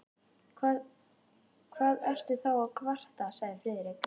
Hvað ertu þá að kvarta? sagði Friðrik.